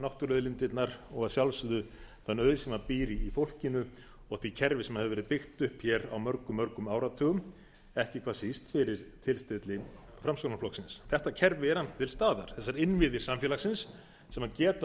náttúruauðlindirnar og að sjálfsögðu þann auð sem býr í fólkinu og því kerfi sem hefur verið byggt upp á mörgum áratugum ekki hvað síst fyrir tilstilli framsóknarflokksins þetta kerfi er annars til staðar þessir innviðir samfélagsins sem geta